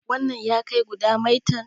wannan ya kai guda maitan?